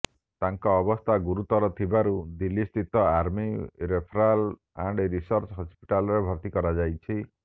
ତାଙ୍କ ଅବସ୍ଥା ଗୁରୁତର ଥିବାରୁ ଦିଲ୍ଲୀ ସ୍ଥିତ ଆର୍ମୀ ରେଫରାଲ ଆଣ୍ଡ ରିସର୍ଚ୍ଚ ହସ୍ପିଟାଲରେ ଭର୍ତ୍ତି କରାଯାଇଛି